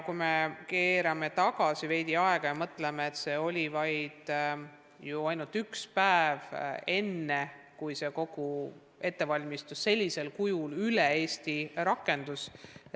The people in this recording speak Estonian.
Kui me keerame aega veidi tagasi, siis oli ju ainult üks päev kogu ettevalmistuseks enne, kui õpe sellisel kujul üle Eesti rakendus.